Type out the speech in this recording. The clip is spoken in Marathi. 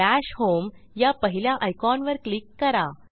दश होम या पहिल्या आयकॉनवर क्लिक करा